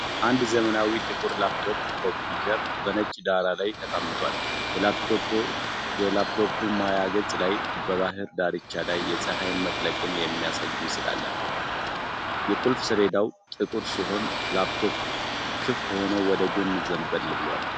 አንድ ዘመናዊ ጥቁር ላፕቶፕ ኮምፒውተር በነጭ ዳራ ላይ ተቀምጧል። የላፕቶፑ ማያ ገጽ ላይ በባህር ዳርቻ ላይ የፀሐይ መጥለቅን የሚያሳይ ምስል አለ። የቁልፍ ሰሌዳው ጥቁር ሲሆን ላፕቶፑ ክፍት ሆኖ ወደ ጎን ዘንበል ብሏል።